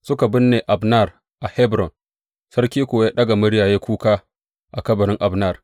Suka binne Abner a Hebron, sarki kuwa ya ɗaga murya ya yi kuka a kabarin Abner.